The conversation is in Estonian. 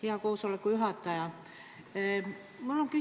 Hea koosoleku juhataja!